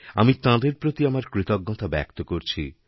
আমি তাঁদের প্রতি আমার কৃতজ্ঞতা ব্যক্ত করছি